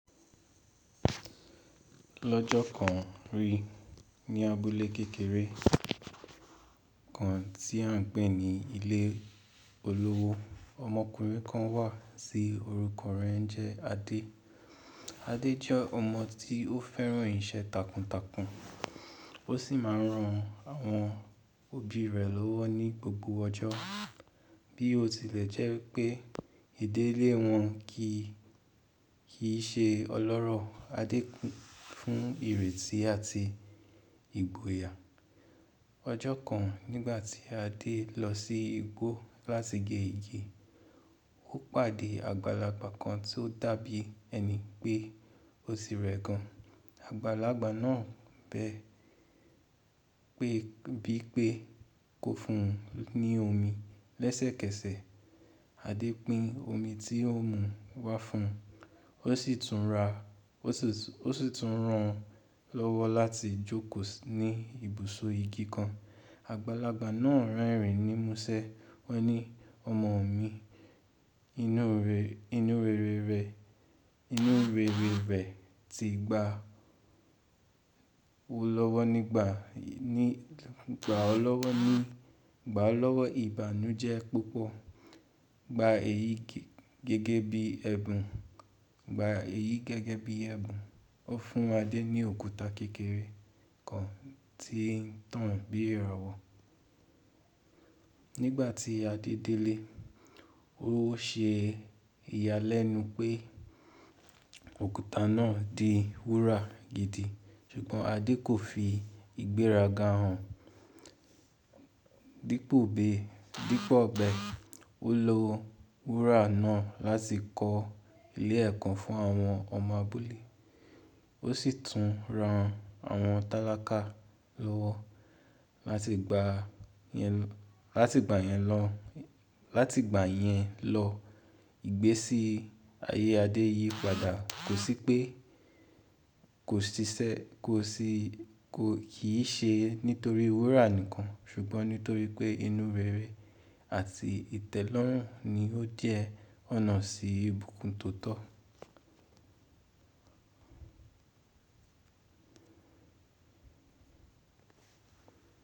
Lọ́jọ́ kan rí ní abúlé kékeré kan tí a ń pé ní ilé olówó, ọmọkùnrin kan wà tí orúkọ rẹ ńjẹ́ Adé. Adé jẹ́ ọmọ tí ó fẹ́ràn iṣẹ́ takuntakun ó sì máa ń ran àwọn òbí rẹ̀ lọ́wọ́ ní gbogbo ọjọ́. Bí ó tilẹ̀ jẹ́ pé ìdílé wọn kì í ṣe ọlọ́rọ̀, Adé kún fún ìrètí àti ìgboyà. Ọjọ́ kan nígbà tí Adé lọ sí igbó láti gé igi, ó pàdé àgbàlagbà kan tó dàbí ẹni pé ó ti rẹ̀ gan. Àgbàlagbà náà bẹ pe bí pé kó fún un ní omi lẹ́sẹ̀kẹsẹ̀. Adé pín omi tí ón mú wá fún un, o si tun ra ó sì tún rán lọ́wọ́ láti jókòó ní ibùsọ̀ igi kan. Àgbàlagbà náà rerìn ní múṣẹ́, wọ́n ní “Ọmọ mi, inú rere rẹ ti gba ti gba ọ́ lọ́wọ́ ní gbà ọ lọ́wọ́ ìbànújẹ́ púpọ̀. Gba èyí gẹ́gẹ́ bí ẹ̀bùn.” Ó fún Adé ní òkúta kékeré kan tí ń tàn bí ìràwọ̀. Nígbà tí Adé délé, ó ṣe ìyàlẹ́nu pé òkúta náà di wúrà gidi, ṣùgbọ́n Adé kò fi ìgbéraga hàn. Dípò bẹ, ó lo wúrà náà láti kọ́ ilé ẹ̀ko fún àwọn ọmọ abúlé. Ó sì tún ran àwọn tálákà lọ́wọ́ lati gba láti ìgbà yẹn lọ. Ìgbésí ayé Adé yí padà kò sì pe kí i ṣe nítorí wúrà nìkan ṣùgbọ́n nítorí pé inú rere àti ìtẹ́lọ́rùn ni ó jẹ́ ọ̀nà sí ìbùkún tóo tọ́.